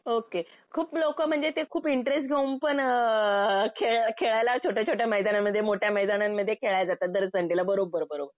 Okay. खूप लोकं म्हणजे ते खूप इंटरेस्ट घेऊन पण अ खेळायला छोट्या छोट्या मैदानामध्ये, मोठ्या मैदानांमध्ये खेळायला जातात दर संडेला. बरोबर बरोबर.